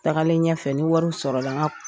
Tagalen ɲɛfɛ ni wariw sɔrɔla n ka